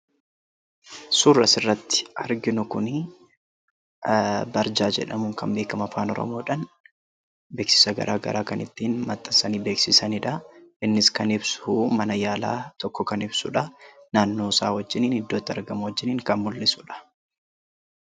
Suurri asirratti arginu Kun 'barjaa' jedhamuun kan beekamu Afaan Oromoodhaan beeksisa garaagaraa kan ittiin maxxansanii beeksisaniidha. Innis kan ibsu mana yaalaa tokko kan ibsuudha. Naannoo isaa wajjin, iddoo itti argamu wajjin kan mul'isudha.